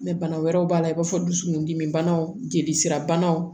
bana wɛrɛw b'a la i b'a fɔ dusukun dimi banaw jeli sira banaw